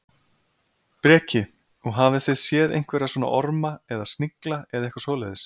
Breki: Og hafið þið séð einhverja svona orma eða snigla eða eitthvað svoleiðis?